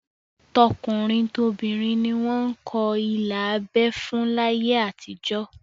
Tọkùnrin tobìnrin ni wọ́n ń kọ ilà abẹ́ fún láyé àtijó